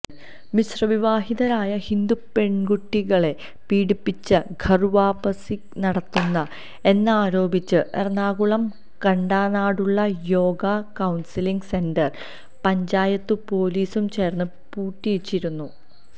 മിശ്രവിവാഹിതരായ ഹിന്ദുപെണ്കുട്ടികളെ പീഡിപ്പിച്ച് ഘര്വാപസി നടത്തുന്നു എന്നാരോപിച്ച് എറണാകുളം കണ്ടനാടുള്ള യോഗാ കൌണ്സിലിങ്ങ് സെന്റര് പഞ്ചായത്തും പൊലീസും ചേര്ന്ന് പൂട്ടിച്ചിരുന്നു